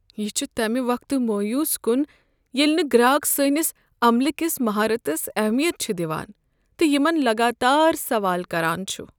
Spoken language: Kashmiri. یہ چھ تمہ وقتہٕ مویوٗس كُن ییلہٕ نہٕ گراک سٲنس عملہٕ کِس مہارتس اہمیت چھ دِوان تہٕ یمن لگاتار سوال کران چھ۔